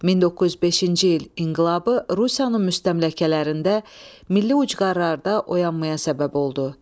1905-ci il inqilabı Rusiyanın müstəmləkələrində, milli ucqarlarda oyanmaya səbəb oldu.